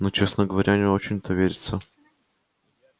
но честно говоря не очень-то верится